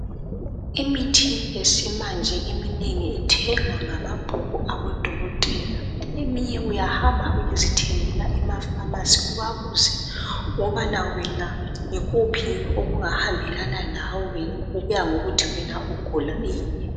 Imithi yesimanje eminengi ithengwa ngamabhuku abodokotela eminye uyahamba uyezithengela emafamasi ubabuze ukubana wena yikuphi okungahambelana lawe okuya ngokuthi wena ugula ini.